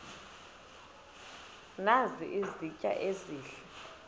nazi izitya ezihle